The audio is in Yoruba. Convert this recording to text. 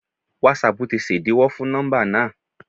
Wásapù tí ṣẹ̀díwọ́ fún nọ́mbà náà.?